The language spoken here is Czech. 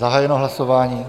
Zahájeno hlasování.